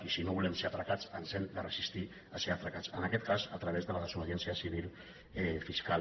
i si no volem ser atracats ens hem de resistir a ser atracats en aquest cas a través de la desobediència civil fiscal